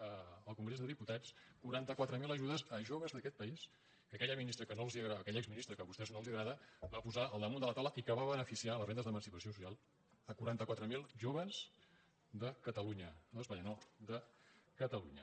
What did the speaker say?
al congrés dels diputats quaranta quatre mil ajudes a joves d’aquest país que aquella exministra que a vos·tès no els agrada va posar al damunt de la taula i que va beneficiar les rendes d’emancipació social quaranta quatre mil joves de catalunya no d’espanya no de catalunya